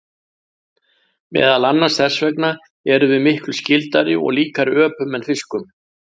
Meðal annars þess vegna erum við miklu skyldari og líkari öpum en fiskum.